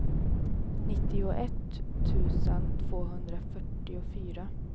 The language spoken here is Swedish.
nittioett tusen tvåhundrafyrtiofyra